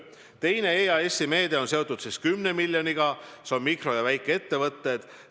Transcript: Teine EAS-i meede on seotud 10 miljoniga, see on mikro- ja väikeettevõtted.